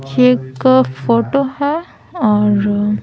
ये एक फोटो है और --